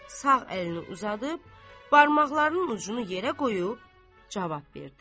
Sağ əlini uzadıb, barmaqlarının ucunu yerə qoyub cavab verdi.